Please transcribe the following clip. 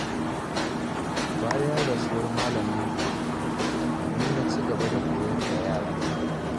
Bayan rasuwar malaminmu, ni na ci gaba da koyar da yaran.